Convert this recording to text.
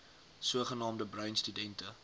sogenaamde bruin studente